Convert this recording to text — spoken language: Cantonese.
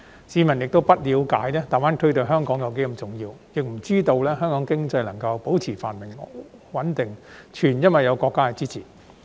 市民不了解大灣區對香港多麼重要，也不知道香港經濟能夠保持繁榮穩定是全因有國家支持。